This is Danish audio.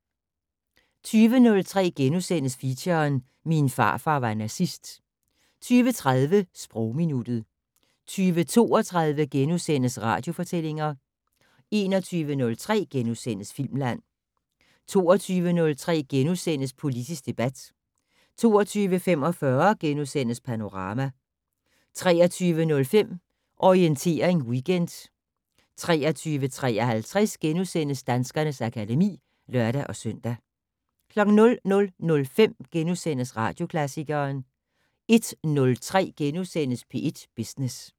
20:03: Feature: Min farfar var nazist * 20:30: Sprogminuttet 20:32: Radiofortællinger * 21:03: Filmland * 22:03: Politisk debat * 22:45: Panorama * 23:05: Orientering Weekend 23:53: Danskernes akademi *(lør-søn) 00:05: Radioklassikeren * 01:03: P1 Business *